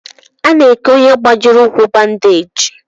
Ana eke ọnye gbajiri ụkwụ bandage.